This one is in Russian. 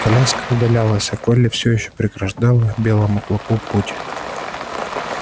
коляска удалялась а колли все ещё преграждала белому клыку путь